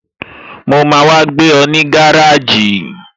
Mo máa wá gbé ọ ní gáràjì